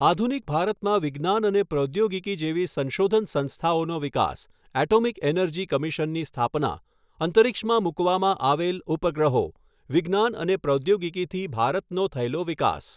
આધુનિક ભારતમાં વિજ્ઞાન અને પ્રૌદ્યોગિકી જેવી સંશોધન સંસ્થાઓનો વિકાસ, એટોમિક એનર્જી કમિશનની સ્થાપના ,અંતરીક્ષમાં મુકવામાં આવેલ ઉપગ્રહો ,વિજ્ઞાન અને પ્રાદ્યોગિકીથી ભારતનો થયેલો વિકાસ.